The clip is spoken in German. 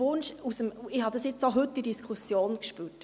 Ich habe es jetzt auch heute in der Diskussion gespürt: